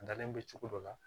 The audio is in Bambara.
Dalen bɛ cogo dɔ la